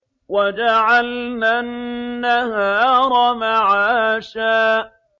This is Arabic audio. وَجَعَلْنَا النَّهَارَ مَعَاشًا